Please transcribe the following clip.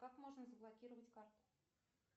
как можно заблокировать карту